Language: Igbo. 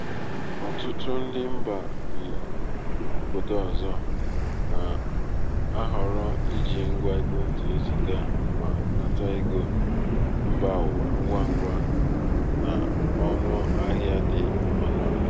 ọtụtụ ndị mba bi obodo ọzọ na-ahọrọ iji ngwa ekwentị eziga ma nata ego mba ụwa ngwa ngwa na ọnụ ahịa dị ọnụ ala.